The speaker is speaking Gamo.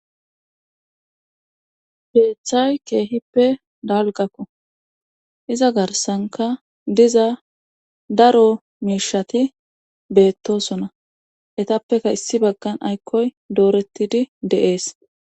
beeththay keehippe dalgakko iza garsanka diza daro miishati beettosona etappeka issi baggan aykkoy doorettidi deees